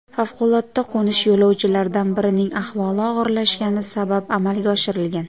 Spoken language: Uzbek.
Favqulodda qo‘nish yo‘lovchilardan birining ahvoli og‘irlashgani sabab amalga oshirilgan.